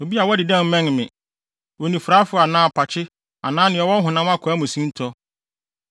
Obi a wadi dɛm mmɛn me: onifuraefo anaa apakye anaa nea ɔwɔ honam akwaa mu sintɔ;